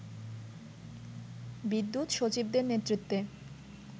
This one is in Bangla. বিদ্যুৎ সচিবদের নেতৃত্বে